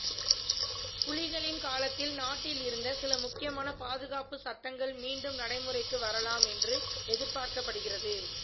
புலிகளின் காலத்தில் நாட்டில் இருந்த சில முக்கியமான பாதுகாப்புச் சட்டங்கள் மீண்டும் நடைமுறைக்கு வரலாம் என்று எதிர்பார்க்கப்படுகிறது